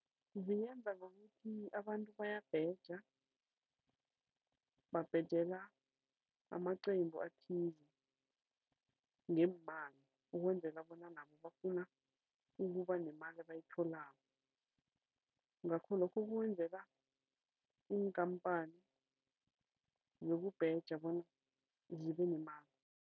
Zingenza ngokuthi abantu bayabheja, babhejela amaqembu athize ngeemali ukwenzela bona nabo bafuna ukuba nemali abayitholako. Ngakho lokho iinkhamphani zokubheja bona zibenemali.